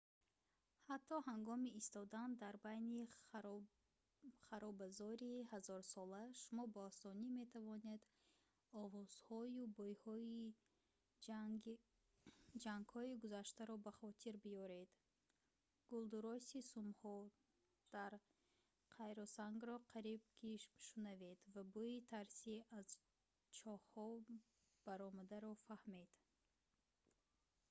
ҳатто ҳангоми истодан дар байни харобазори ҳазорсола шумо ба осонӣ метавонед овозҳою бӯйҳои ҷангҳои гузаштаро ба хотир биёред гулдурроси сумҳо дар қайроқсангро қариб ки шунавед ва бӯйи тарси аз чоҳҳо баромадаро фаҳмед